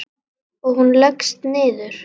Og hún leggst niður.